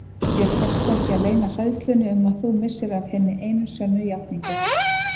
Þér tekst ekki að leyna hræðslunni um að þú missir af hinni einu sönnu játningu.